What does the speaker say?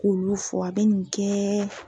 K'olu fura bɛ nin kɛ.